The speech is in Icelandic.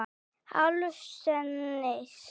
Álfsnesi